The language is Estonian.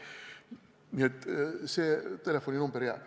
Nii et see telefoninumber jääb.